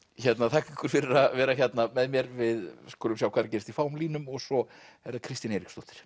þakka ykkur fyrir að vera hérna með mér við skulum sjá hvað er að gerast í fáum línum og svo er það Kristín Eiríksdóttir